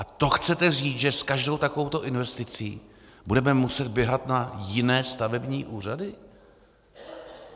A to chcete říct, že s každou takovouto investicí budeme muset běhat na jiné stavební úřady?